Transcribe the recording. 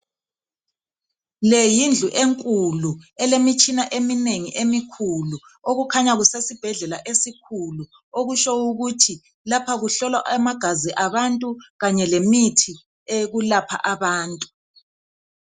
Le yindlu enkulu, elemitshina eminengi emikhulu. Kukhanya kusesibhedlela esikhulu, okutshengisa ukuthi lapha kuhlolwa amagazi abantu kanye lemithi eyokulapha abantu.